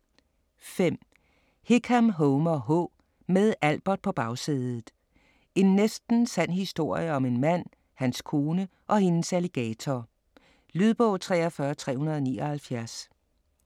5. Hickam, Homer H.: Med Albert på bagsædet: en næsten sand historie om en mand, hans kone og hendes alligator Lydbog 43379